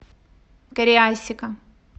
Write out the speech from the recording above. кариасика